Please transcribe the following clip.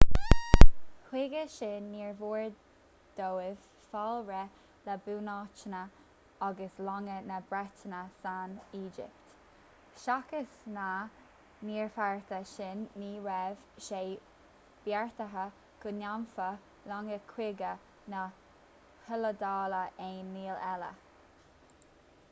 chuige sin níor mhór dóibh fáil réidh le bunáiteanna agus longa na breataine san éigipt seachas na gníomhartha sin ní raibh sé beartaithe go ndéanfadh longa cogaidh na hiodáile aon ní eile